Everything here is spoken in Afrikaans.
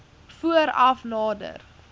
voor af nader